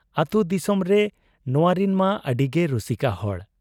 ᱟᱹᱛᱩ ᱫᱤᱥᱚᱢᱨᱮ ᱱᱚᱶᱟᱨᱤᱱ ᱢᱟ ᱟᱹᱰᱤᱜᱮ ᱨᱩᱥᱤᱠᱟ ᱦᱚᱲ ᱾